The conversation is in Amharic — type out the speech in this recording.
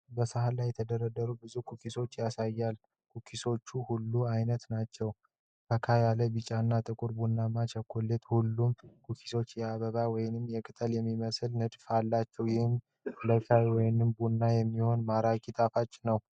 በሳህን ላይ የተደረደሩ ብዙ ኩኪዎችን ያሳያል። ኩኪዎቹ ሁለት አይነት ናቸው፡- ፈካ ያለ ቢጫ እና ጥቁር ቡናማ ቸኮሌት ። ሁሉም ኩኪዎች የአበባ ወይም የቅጠል የሚመስል ንድፍ አላቸው፣ ይህም ለሻይ ወይም ቡና የሚሆን ማራኪ ጣፋጭ ነው።